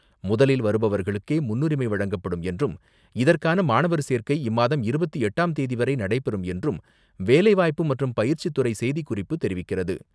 முதலில் வருபவர்களுக்கே முன்னுரிமை வழங்கப்படும் என்றும் இதற்கான மாணவர் சேர்க்கை இம்மாதம் இருபத்து எட்டாம் தேதிவரை நடைபெறும் என்றும் வேலைவாய்ப்பு மற்றும் பயிற்சித்துறை செய்திக்குறிப்பு தெரிவிக்கிறது.